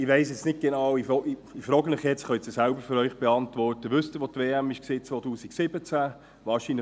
Ich weiss nun nicht genau, ich frage Sie nun, und Sie können es ja selbst für sich beantworten: Wissen Sie, wo die WM 2017 stattgefunden hat?